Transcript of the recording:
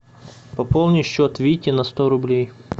пополни счет вите на сто рублей